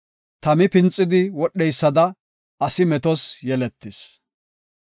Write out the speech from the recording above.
Tami pinxidi wodheysada, asi metos yeletis.